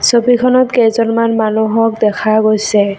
ছবিখনত কেইজনমান মানুহক দেখা গৈছে।